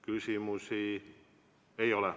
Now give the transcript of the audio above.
Küsimusi ei ole.